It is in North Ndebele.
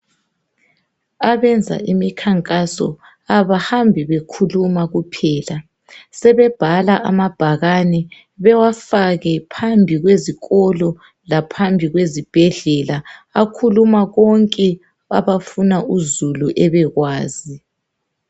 Abenza imikhankaso abahambi bekhuluma kuphela sebebhala amabhakane bewafake phambi kwezikolo laphambi kwezibhedlela akhuluma konke abafuna uzulu ebekwazi .